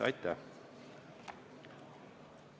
Aitäh!